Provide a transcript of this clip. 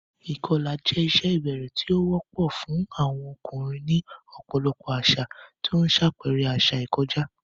Ìkọlà jẹ́ ìṣe ìbẹ̀rẹ̀ tí ó wọ́pọ̀ fún àwọn ọkùnrin ní ọ̀pọ̀lọpọ̀ àṣà, tí ó ń ṣàpẹẹrẹ àṣà ìkọjá.